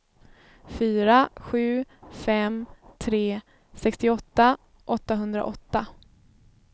fyra sju fem tre sextioåtta åttahundraåtta